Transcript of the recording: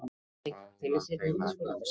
þá var þeim ekki um sel,